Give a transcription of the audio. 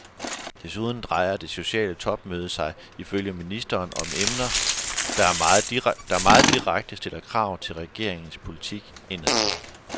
Desuden drejer det sociale topmøde sig ifølge ministeren om emner, der meget direkte stiller krav til regeringernes politik indadtil.